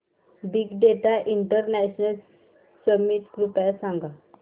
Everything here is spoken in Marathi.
बिग डेटा इंटरनॅशनल समिट कृपया सांगा